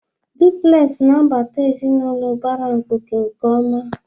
Dupulesị na-abata ezinụlọ ụbara mkpuke nke ọma.